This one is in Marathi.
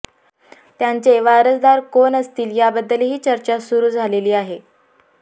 त्यांचे वारसदार कोण असतील याबद्दलही चर्चा सुरू झाली आहे